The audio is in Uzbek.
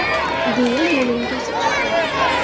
– deya yo‘lini to‘sib chiqdi.